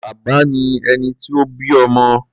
Bàbá ni ẹni tó bí ọmọ.